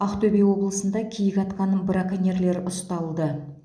ақтөбе облысында киік атқан браконьерлер ұсталды